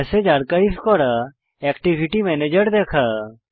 messages archive করা activity ম্যানেজের দেখা